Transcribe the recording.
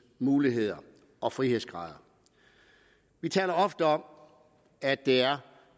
muligheder og frihedsgrader vi taler ofte om at det er